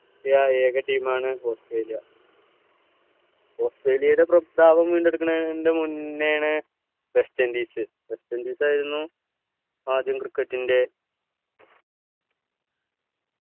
യ ഏക team മാണ് ഓസ്ട്രേലിയ ഓസ്ട്രേലിയയുടെ പ്രസ്താവനം വീണ്ടെടുക്കുന്നതിന് മുന്നേയാണ് വെസ്റ്റ് ഇൻഡീസ് വെസ്റ്റ് ഇൻഡീസ് ആരുന്നു ആദ്യം cricket ൻ്റെ